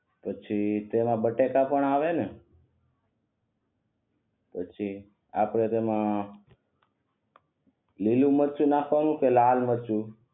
પછી તેમાં બટેકા પણ આવે ને પછી આપડે તેમા લીલુ મરચું નાખવાનું કે લાલ મરચું